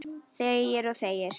Þegir og þegir.